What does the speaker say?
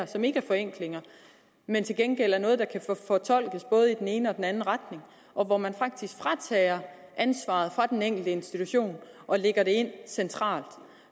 som ikke er forenklinger men til gengæld noget der kan fortolkes både i den ene og den anden retning og hvor man faktisk fratager ansvaret fra den enkelte institution og lægger det ind centralt